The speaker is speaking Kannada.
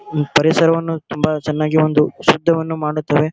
ಈ ಪರಿಸರವನ್ನು ತುಂಬಾ ಚನ್ನಾಗಿ ಒಂದು ಶಬ್ದವನ್ನು ಮಾಡುತ್ತದೆ.